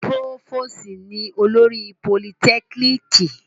Púròfòsì ni olórí Politekiniki